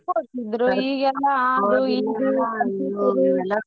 ಹೋಗ್ತಿದ್ರು ಈಗೆಲ್ಲಾ .